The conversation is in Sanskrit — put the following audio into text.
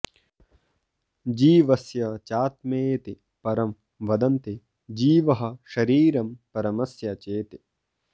जीवस्य चात्मेति परं वदन्ति जीवः शरीरं परमस्य चेति